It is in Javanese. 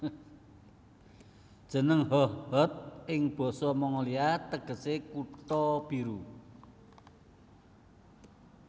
Jeneng Hohhot ing basa Mongolia tegesé Kutha Biru